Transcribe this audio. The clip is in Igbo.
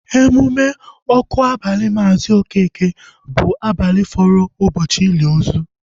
Emume ọkụ abali Maazi Okeke bụ abalị fọrọ ụbọchị ili ozu